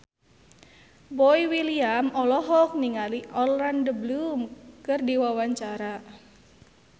Boy William olohok ningali Orlando Bloom keur diwawancara